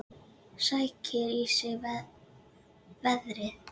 Sækir í sig veðrið.